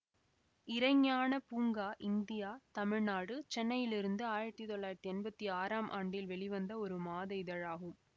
இறை ஞானப் பூங்கா இந்தியா தமிழ்நாடு சென்னையிலிருந்து ஆயிரத்தி தொள்ளாயிரத்தி எம்பத்தி ஆறாம் ஆண்டில் வெளிவந்த ஒரு மாத இதழாகும்